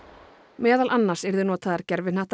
meðal annars yrðu notaðar